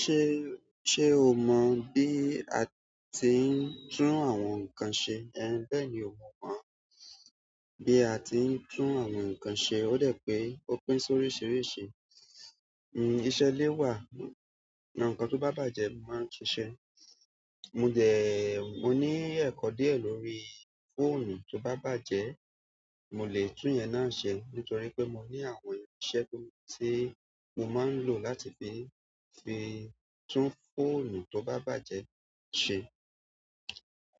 Ṣé o mọ bí a ti ń tún àwọn nǹkan ṣe? Bẹ́ẹ̀ni mo mọ̀ bí a ti ń tún àwọn nǹkan ṣe. Ó de pín ó pín sóríṣiríṣi. Iṣẹ́ ilé wà, àwọn nkán tó bá bàjẹ́ mo máa ń tun ṣe. Mo dẹ, mo ní ẹ̀kọ́ díẹ̀ lórí fóònù tó bá bàjẹ́, mo lè tún yẹn náà ṣe. Nítorí pé mo ní àwọn irinṣẹ́ ti, mo máa ń lò láti fi, fi tún fóònù tó bá bàjẹ́ ṣe.